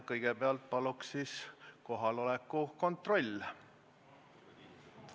Kõigepealt palun teha kohaloleku kontroll.